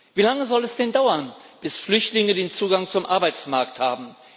Wie lange soll es denn dauern, bis Flüchtlinge Zugang zum Arbeitsmarkt haben?